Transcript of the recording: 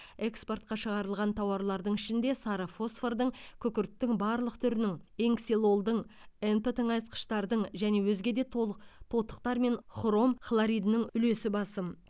экспортқа шығарылған тауарлардың ішінде сары фосфордың күкірттің барлық түрінің н ксилолдың нп тыңайтқыштардың және өзге де толық тотықтар мен хром хлоридінің үлесі басым